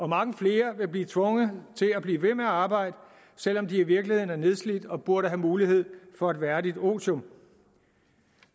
mange flere vil blive tvunget til at blive ved med at arbejde selv om de i virkeligheden er nedslidte og burde have mulighed for et værdigt otium